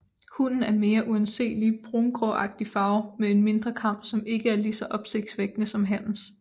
Hunnen er mere uanselig brungråagtigt farvet med en mindre kam som ikke er lige så opsigtsvækkende som hannens